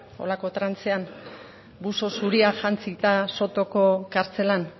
horrelako trantzean buzo zuria jantzita sotoko kartzelan